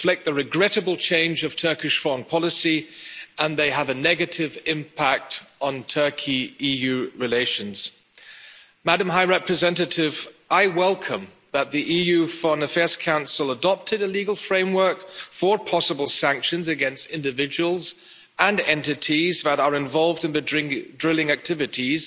They reflect the regrettable change of Turkish foreign policy and they have a negative impact on Turkey EU relations. Madam High Representative, I welcome the adoption by the EU Foreign Affairs Council of a legal framework for possible sanctions against individuals and entities that are involved in the drilling activities,